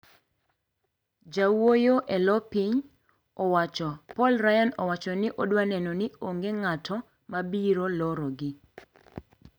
Jawuoyo e lo piny owacho Paul Ryan owacho ni odwaneno ni onge ng`ato ma biro lorogi.